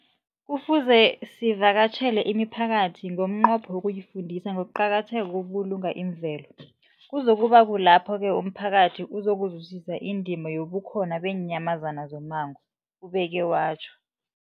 Kufuze sivakatjhele imiphakathi ngomnqopho wokuyifundisa ngokuqakatheka kokubulunga imvelo. Kuzoku ba kulapho-ke umphakathi uzokuzwisisa indima yobukhona beenyamazana zommango, ubeke watjho.